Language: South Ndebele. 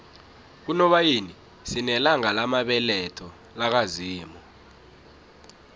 kunobayeni sinelanga lamabeletho laka zimu